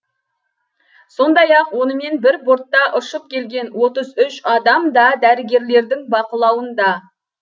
сондай ақ онымен бір бортта ұшып келген отыз үш адам да дәрігерлердің бақылауында